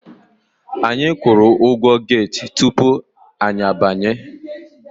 Anyi kwụrụ ụgwọ get tupu anyị abanye.